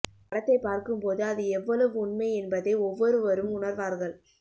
படத்தைப் பார்க்கும் போது அது எவ்வளவு உண்மை என்பதை ஒவ்வொருவரும் உணர்வார்கள்